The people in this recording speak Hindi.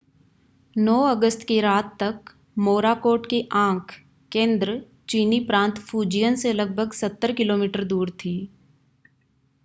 9 अगस्त की रात तक मोराकोट की आँख केंद्र चीनी प्रांत फुजियन से लगभग सत्तर किलोमीटर दूर थी।